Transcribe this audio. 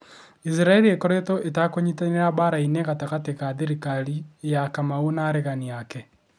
Isiraĩri ĩkoretwo itakũnyitanĩra mbara-inĩ gatagati ga thirikari ya kamau na aregani ake